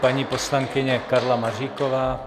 Paní poslankyně Karla Maříková.